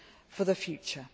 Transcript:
for the future.